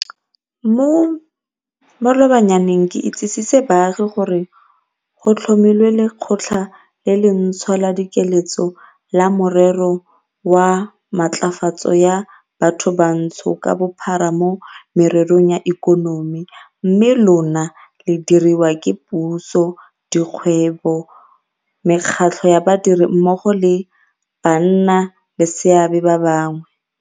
Mo malobanyaneng ke itsisitse baagi gore go tlhomilwe Lekgotla le le ntšhwa la Dikeletso la Merero ya Matlafatso ya Bathobantsho ka Bophara mo Mererong ya Ikonomi, mme lona le diriwa ke puso, di kgwebo, mekgatlho ya badiri mmogo le bannaleseabe ba bangwe.